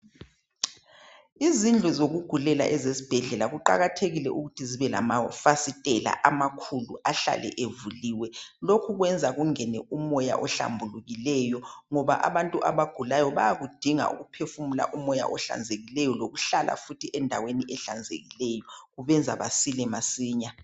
Izindlu zokugulela esibhedlela kuqakathekile ukuthi zibe amafasitela amakhulu ahlale evuliwe lokhu kwenza kungene umoya ohlambulukileyo ngoba abantu abagulayo bayakudinga ukuphefumula omoya ohlanzekileyo lokuhlala endaweni ehlanzekileyo kubenza basile masinya.